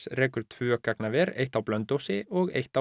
rekur tvö gagnaver eitt á Blönduósi og eitt á